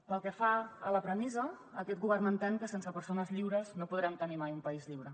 pel que fa a la premissa aquest govern entén que sense persones lliures no podrem tenir mai un país lliure